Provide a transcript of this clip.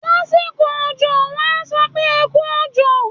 Lásìkò òjọ, wọ́n á sọ pé "ẹ kú òjò".